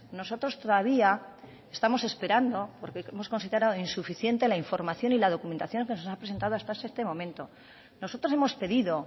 nosotros todavía estamos esperando porque hemos considerado insuficiente la información y la documentación que nos ha presentado hasta este momento nosotros hemos pedido